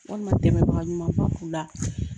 Walima dɛmɛbaga ɲuman k'u la